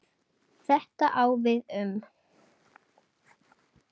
Þetta á við um